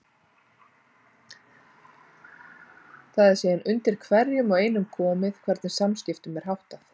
Það er síðan undir hverjum og einum komið hvernig þeim samskiptum er háttað.